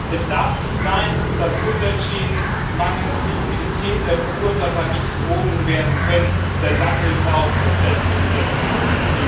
Es darf nicht sein, dass Umweltschäden mangels Liquidität der Verursacher nicht behoben werden können, denn dann hilft auch das beste Gesetz nichts.